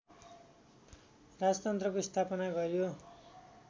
राजतन्त्रको स्थापना गर्‍यो